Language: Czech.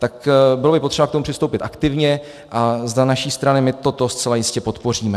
Tak bylo by potřeba k tomu přistoupit aktivně a za naši stranu my toto zcela jistě podpoříme.